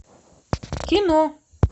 кино